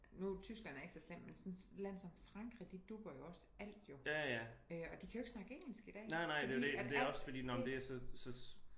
Nu Tyskland er ikke så slem men sådan et land som Frankrig de dubber jo også alt jo øh og de kan jo ikke snakke engelsk i dag fordi at alt det